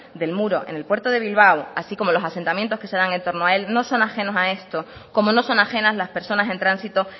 del muro en el puerto de bilbao así como los asentamientos que se dan en torno a él no son ajenos a esto como no son ajenas las personas en tránsito